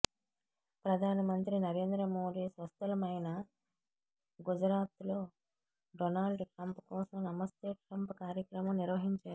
ప్రధానమంత్రి నరేంద్ర మోడీ స్వస్థలమైన గుజరాత్లో డొనాల్డ్ ట్రంప్ కోసం నమస్తే ట్రంప్ కార్యక్రమం నిర్వహించారు